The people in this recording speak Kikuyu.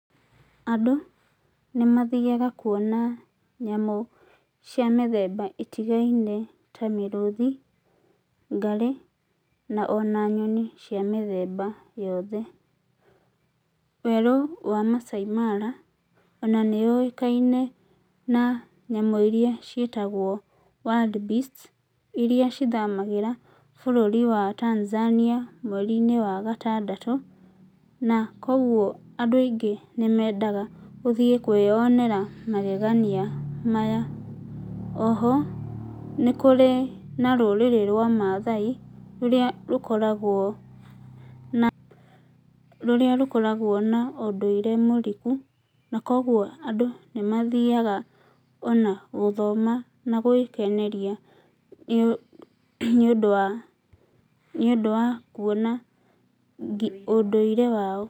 Andũ nĩ mathiaga kuona nyamu cia mĩthemba ĩtigaine ta mĩrũthi, ngarĩ na ona nyoni cia mĩthemba yothe. Werũ wa Maasai mara, ona nĩ ũikaine na nyamũ iria ciĩtagwo wildbeast iria ithamagĩra bũrũri wa Tanzania mweri~inĩ wagatandatũ. Na kogwo andũ aingĩ nĩ mendaga gũthiĩ kwĩyonera magegania maya. Oho, nĩ kũri na rũrĩrĩ rwa Mathai rũrĩa rũkoragwo na ũndũire mũriku na kogwo andũ nĩ mathiaga ona gũthoma na gwĩkeneria nĩ ũndũ wakuona ũndũire wao.